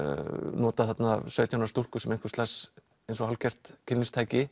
nota þarna sautján ára stúlku sem einhvers lags eins og hálfgert